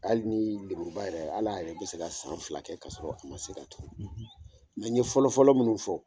Hali ni lemuruba yɛrɛ, ale yɛrɛ bɛ se ka san fila kɛ k'a sɔrɔ a ma se ka tuur, , mɛ n ye fɔlɔ fɔlɔ minnu fɔ,